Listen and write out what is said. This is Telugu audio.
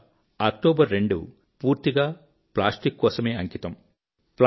ఇక 02 అక్టోబర్ పూర్తిగా ప్లాస్టిక్ కోసమే అంకితం